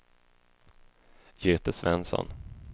Göte Svensson